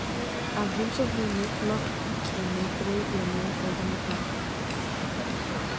Að heimsókninni lokinni dreif ég mig ofan í bæ.